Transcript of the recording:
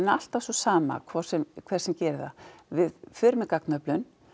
alltaf sú sama hver sem hver sem gerir það við förum í gagnaöflun